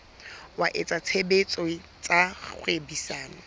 wa etsa tshebetso tsa kgwebisano